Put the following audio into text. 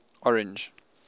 orange